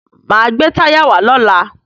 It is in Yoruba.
Máa gbé táyà wá lọ́la.